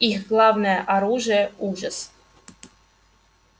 их главное оружие ужас